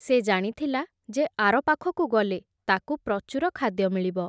ସେ ଜାଣିଥିଲା, ଯେ ଆର ପାଖକୁ ଗଲେ ତାକୁ ପ୍ରଚୁର ଖାଦ୍ୟ ମିଳିବ ।